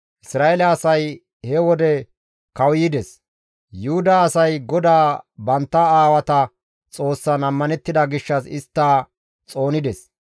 Isra7eele asay he wode kawuyides; Yuhuda asay GODAA bantta aawata Xoossan ammanettida gishshas istta xoonides.